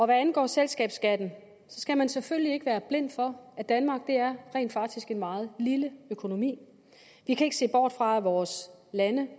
hvad angår selskabsskatten skal man selvfølgelig ikke være blind for at danmark rent faktisk er en meget lille økonomi vi kan ikke se bort fra at vores